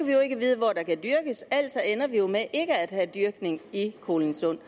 vi jo ikke vide hvor der kan dyrkes altså ender vi jo med ikke at have dyrkning i kolindsund